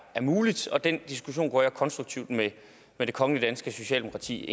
muligt og den diskussion går jeg konstruktivt ind i med det kongelige danske socialdemokrati